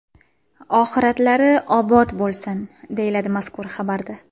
Oxiratlari obod bo‘lsin!”, deyiladi mazkur xabarda.